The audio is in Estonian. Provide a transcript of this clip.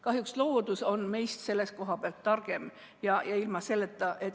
Kahjuks on loodus meist selle koha pealt targem.